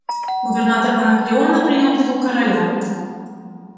губернатор анакреона принял титул короля